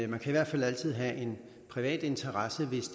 man kan i hvert fald altid have en privat interesse hvis